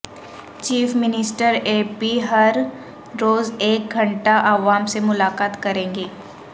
chief minister A P ہر روز ایک گھنٹہ عوام سے ملاقات کریں گے